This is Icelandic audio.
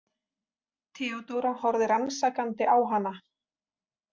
Theodóra horfði rannsakandi á hana.